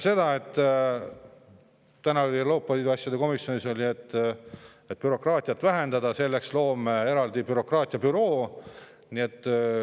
Täna Euroopa Liidu asjade komisjonis räägiti, et bürokraatiat tuleb vähendada ja selleks me loome eraldi bürokraatiabüroo.